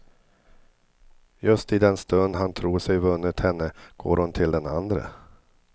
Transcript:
Just i den stund han tror sig vunnit henne går hon till den andre.